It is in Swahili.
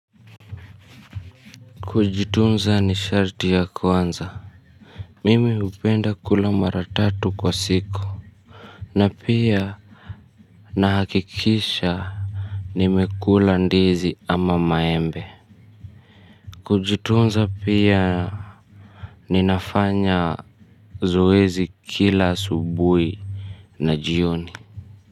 Kujitunza ni sharti ya kwanza. Mimi hupenda kula mara tatu kwa siku. Na pia na hakikisha nimekula ndizi ama maembe. Kujitunza pia ninafanya zoezi kila asubuhi na jioni.